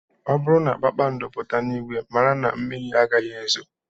Ọ bụrụ na kpakpando pụta n'ìgwè, mara na mmiri agaghị ezo